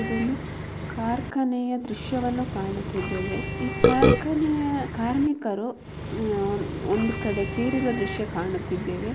ಇದೊಂದು ಕಾರ್ಖಾನೆಯ ದೃಶ್ಯವನ್ನು ಕಾಣುತ್ತಿದ್ದೇವೆ. ಈ ಕಾರ್ಖಾನೆಯ ಕಾರ್ಮಿಕರು ಒಂದು ಕಡೆ ಸೇರಿರುವ ದೃಶ್ಯ ಕಾಣುತ್ತಿದ್ದೇವೆ.